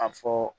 A fɔ